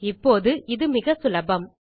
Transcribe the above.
இப்போது இது மிகச்சுலபம்